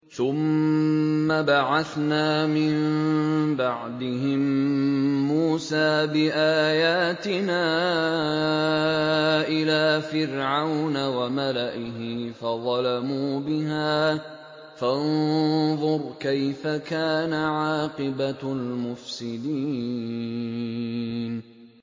ثُمَّ بَعَثْنَا مِن بَعْدِهِم مُّوسَىٰ بِآيَاتِنَا إِلَىٰ فِرْعَوْنَ وَمَلَئِهِ فَظَلَمُوا بِهَا ۖ فَانظُرْ كَيْفَ كَانَ عَاقِبَةُ الْمُفْسِدِينَ